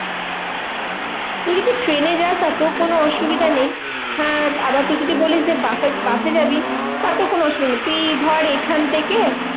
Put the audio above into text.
তুই যদি ট্রেনে যাস তাতেও কোনো অসুবিধা নেই। হ্যাঁ আবার তুই যদি বলিস যে বাস বাসে যাবি তাতেও কোনো অসুবিধা নেই। তুই ধর এখন থেকে